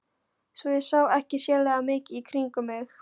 Svo ég sá ekki sérlega mikið í kringum mig.